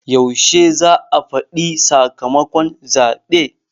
Yaushe za a faɗi sakamakon zaɓe?